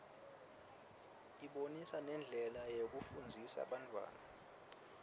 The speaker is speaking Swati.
ibonisa nendlela yokufundzisa bantfwana